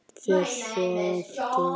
Fer svo aftur á flakk.